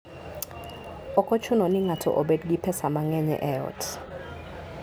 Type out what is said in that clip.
Ok ochuno ni ng'ato obed gi pesa mang'eny e ot.